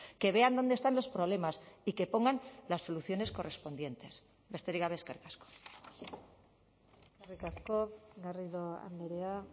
que vean dónde están los problemas y que pongan las soluciones correspondientes besterik gabe eskerrik asko eskerrik asko garrido andrea